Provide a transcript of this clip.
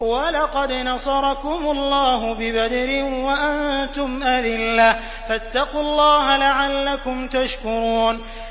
وَلَقَدْ نَصَرَكُمُ اللَّهُ بِبَدْرٍ وَأَنتُمْ أَذِلَّةٌ ۖ فَاتَّقُوا اللَّهَ لَعَلَّكُمْ تَشْكُرُونَ